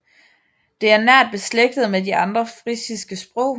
Det er nært beslægtet med de andre frisiske sprog